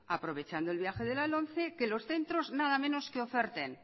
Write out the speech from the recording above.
aprovechando el viaje de la lomce que los centros nada menos que oferten